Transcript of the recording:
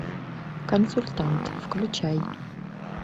консультант включай